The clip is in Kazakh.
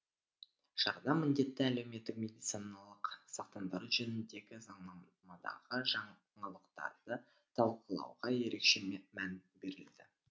шарада міндетті әлеуметтік медициналық сақтандыру жөніндегі заңнамадағы жаңалықтарды талқылауға ерекше мән берілді